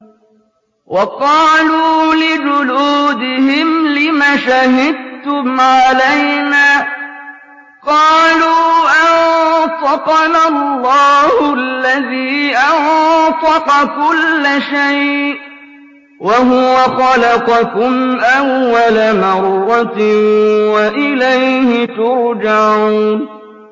وَقَالُوا لِجُلُودِهِمْ لِمَ شَهِدتُّمْ عَلَيْنَا ۖ قَالُوا أَنطَقَنَا اللَّهُ الَّذِي أَنطَقَ كُلَّ شَيْءٍ وَهُوَ خَلَقَكُمْ أَوَّلَ مَرَّةٍ وَإِلَيْهِ تُرْجَعُونَ